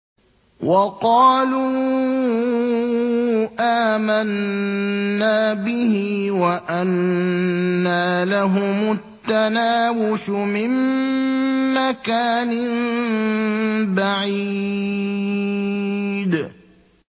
وَقَالُوا آمَنَّا بِهِ وَأَنَّىٰ لَهُمُ التَّنَاوُشُ مِن مَّكَانٍ بَعِيدٍ